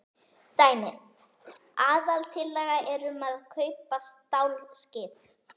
Dæmi: Aðaltillaga er um að kaupa stálskip.